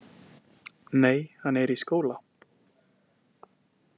Nei, hann er í skóla.